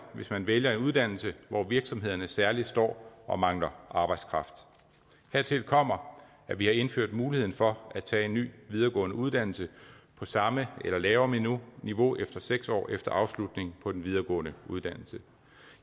hvis man vælger en uddannelse hvor virksomhederne særlig står og mangler arbejdskraft hertil kommer at vi har indført muligheden for at tage en ny videregående uddannelse på samme eller lavere niveau efter seks år efter afslutningen på en videregående uddannelse